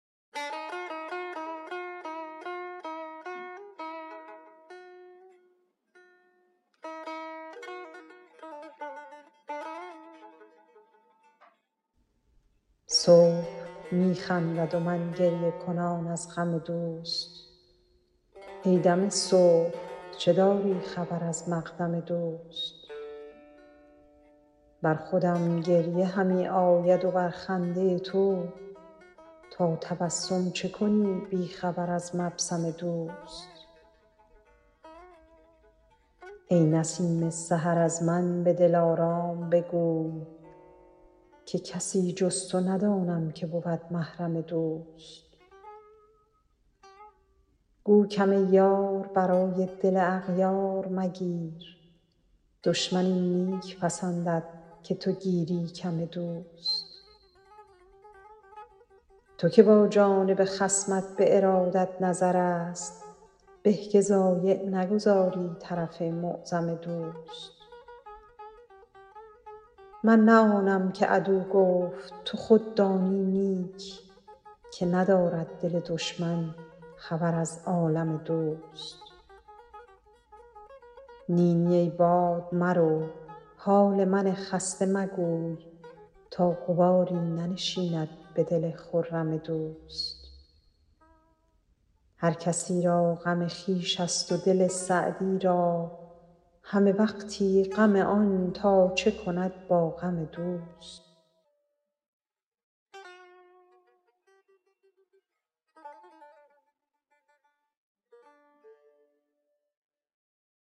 صبح می خندد و من گریه کنان از غم دوست ای دم صبح چه داری خبر از مقدم دوست بر خودم گریه همی آید و بر خنده تو تا تبسم چه کنی بی خبر از مبسم دوست ای نسیم سحر از من به دلارام بگوی که کسی جز تو ندانم که بود محرم دوست گو کم یار برای دل اغیار مگیر دشمن این نیک پسندد که تو گیری کم دوست تو که با جانب خصمت به ارادت نظرست به که ضایع نگذاری طرف معظم دوست من نه آنم که عدو گفت تو خود دانی نیک که ندارد دل دشمن خبر از عالم دوست نی نی ای باد مرو حال من خسته مگوی تا غباری ننشیند به دل خرم دوست هر کسی را غم خویش ست و دل سعدی را همه وقتی غم آن تا چه کند با غم دوست